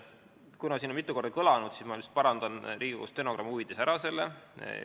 Kuna see on siin mitu korda kõlanud, siis ma parandan Riigikogu stenogrammi huvides selle ära.